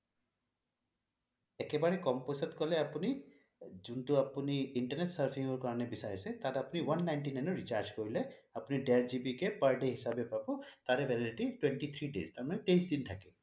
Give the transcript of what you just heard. একেবাৰে কম পইছাত কলে আপুনি যোনটো আপুনি internet surfing ৰ কাৰণে বিচাৰিছে তাত আপুনি one ninety nine ৰ recharge কৰিলে আপুনি দেৰ GB কে per day হিচাবে পাব তাৰে validity twenty three days তাৰ মানে তেইছ দিন থাকে